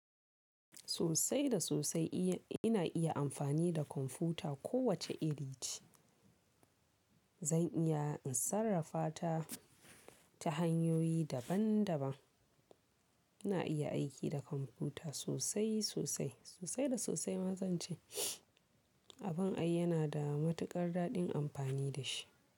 Sosai da sosai ina iya amfani da kwamfuta. Ko wace iri ce zan iya in sarrafa ta, ta hanyoyi daban daban. Ina iya aiki da kwamfuta sosai sosai, sosai da sosai ma zance. Abin ai yana da matuƙar daɗin amfani da shi.